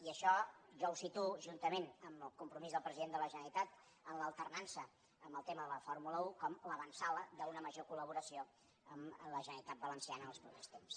i això jo ho situo juntament amb el compromís del president de la generalitat de l’alternança en el tema de la fórmula un com l’avantsala d’una major collaboració amb la generalitat valenciana en els propers temps